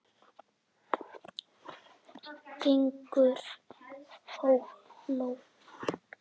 Gaukur hló.